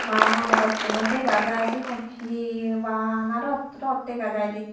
aa ha ha rot tunot degajai sigon he he bana rot rot degajai de.